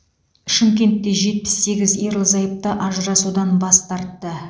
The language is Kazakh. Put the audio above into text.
шымкентте жетпіс сегіз ерлі зайыпты ажырасудан бас тартты